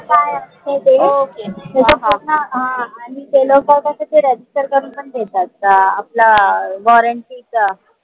आणि ते लोक कस register करून पन देतात अं आपलं warranty च